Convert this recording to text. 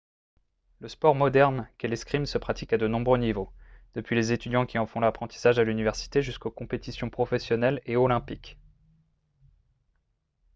le sport moderne qu'est l'escrime se pratique à de nombreux niveaux depuis les étudiants qui en font l'apprentissage à l'université jusqu'aux compétitions professionnelles et olympiques